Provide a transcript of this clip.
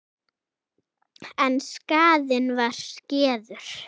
En skaðinn var skeður.